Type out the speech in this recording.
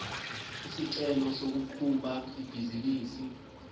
isicelo sokuqhuba ibhizinisi